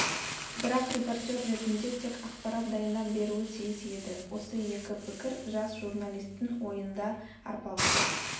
бірақ репортер ретінде тек ақпарат дайындап беруі тиіс еді осы екі пікір жас журналистің ойында арпалысып